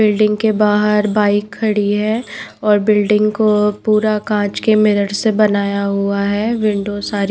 building के बाहर bike खड़ी है और बिल्डिंग को पूरा कांच के मिरर से बनाया हुआ है विंडो सारी--